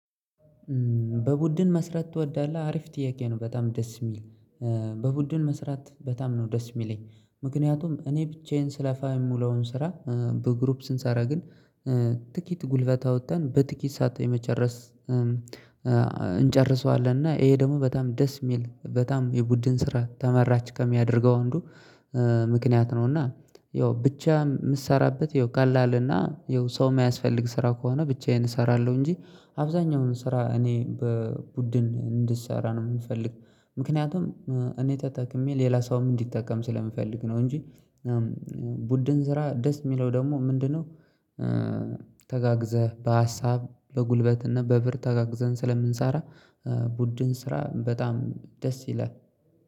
በቡድን መስራት ትወዳለህ? አሪፍ ጥያቄ ነው በጣም ደስ የሚል በቡድን መስራት በጣም ነው ደስ የሚለኝ። ምክንያቱም እኔ ብቻዬን ስለፋ የምውለውን ስራ በግሩፕ ስንሰራ ግን ጥቂት ጉልበት አውጥተን በጥቂት ሰዓት የመጨረስ እንጨርሰዋለን እና ይሄ ደግሞ በጣም ደስ የሚል በጣም የቡድን ስራ ተመራጭ ከሚያደርገው አንዱ ምክንያት ነው። እና ያው ብቻ የምትሰራበት ያው ቀላልና ያው ሰው የሚያስፈልግ ስራ ከሆነ ብቻዬን እሰራለሁ እንጂ አብዛኛውን ስራ እኔ በቡድን እንድንሰራ ነው ምፈልግ። ምክንያቱም እኔ ተጠቅሜ ሌላ ሰውም እንዲጠቀም ስለምፈልግ ነው። እንጂ ቡድን ስራ ደስ የሚለው ደግሞ ምንድነው? ተጋግዘህ በሀሳብ በጉልበትና በብር ተጋግዘን ስለምንሰራ ቡድን ስራ በጣም ደስ ይላል